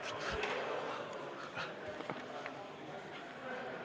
Istungi lõpp kell 11.22.